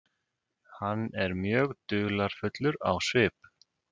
Hann er mjög dularfullur á svip.